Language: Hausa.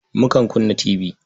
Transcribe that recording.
Mukan kunna tibi.